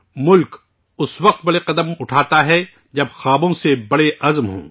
ملک اس وقت بڑے قدم اٹھاتا ہے ، جب عز م خوابوں سے بھی بڑے ہوں